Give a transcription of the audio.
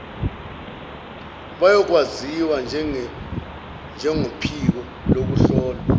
bayokwaziwa njengophiko lokuhlolwa